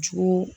Jugu